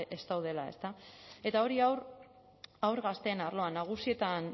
ez daudela ezta eta hori haur gazteen arloan nagusietan